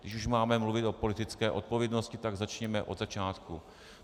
Když už máme mluvit o politické odpovědnosti, tak začněme od začátku.